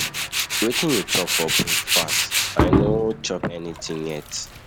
Wetin you chop for breakfast? I no chop anything yet.